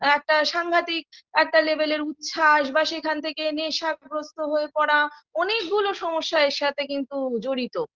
একটা সাংঘাতিক একটা level -এর উচ্ছ্বাস বা সেখান থেকে নেশাগ্রস্ত হয়ে পড়া অনেকগুলো সমস্যা এর সাথে কিন্তু জড়িত